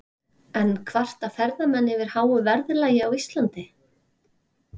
En kvarta ferðamenn yfir háu verðlagi á Íslandi?